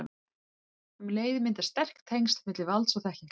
Um leið myndast sterk tengsl milli valds og þekkingar.